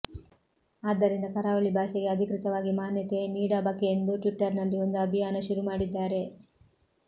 ಆದ್ದರಿಂದ ಕರಾವಳಿ ಭಾಷೆಗೆ ಅಧಿಕೃತವಾಗಿ ಮಾನ್ಯತೆ ನೀಡಬಕೆಂದು ಟ್ವಿಟ್ಟರ್ ನಲ್ಲಿ ಒಂದು ಅಭಿಯಾನ ಶುರು ಮಾಡಿದ್ದಾರೆ